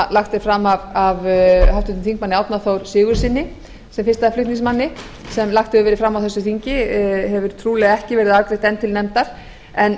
lagt er fram af háttvirtum þingmanni árna þór sigurðssyni sem fyrsta flutningsmanni sem lagt hefur verið fram á þessu þingi hefur trúlega ekki verið afgreitt enn til nándar en